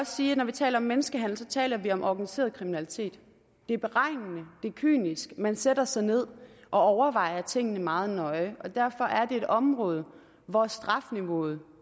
sige at når vi taler om menneskehandel taler vi om organiseret kriminalitet det er beregnende det er kynisk man sætter sig ned og overvejer tingene meget nøje og derfor er et område hvor strafniveauet